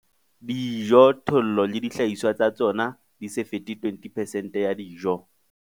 Dijothollo le dihlahiswa tsa tsona di se fete 20 percent ya dijo.